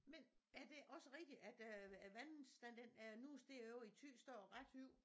Men er det også rigtig at øh æ vandstand den er nu steget ovre i Thy står ret højt